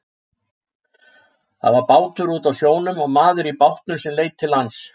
Það var bátur úti á sjónum og maður í bátnum sem leit til lands.